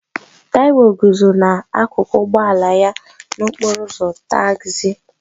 Taiwo guzo n'akụkụ ụgbọ ala ya n'okporo ụzọ tagzi